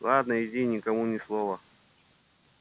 ладно иди и никому ни слова